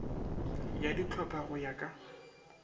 ya dihlopha go ya ka